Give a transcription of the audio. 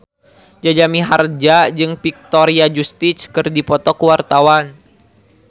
Jaja Mihardja jeung Victoria Justice keur dipoto ku wartawan